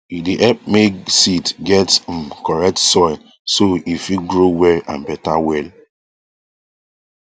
e dey help make seed get um correct soil so e fit grow well and better well